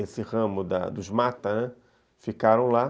Esse ramo dos mata ficaram lá.